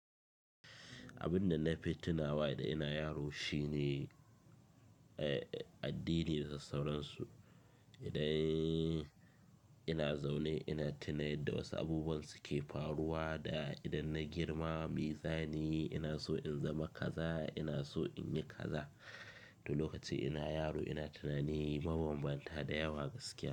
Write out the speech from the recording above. Abin da na fi tunawa da ina yaro shine, eh, addini da sauransu. Idan ina zaune ina tuna yarda wasu abubuwan suke faruwa da idan na girma, me zanyi? Ina so in zama kaza, ina so in yi kaza. To, lokacin ina yaro ina tunani mabambanta da yawa gaskiya.